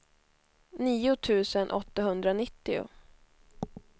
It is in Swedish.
nio tusen åttahundranittio